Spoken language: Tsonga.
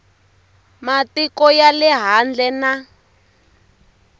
matiko ya le handle na